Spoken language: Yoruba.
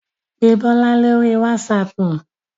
Pé Bọ́lá lóri wásaapù.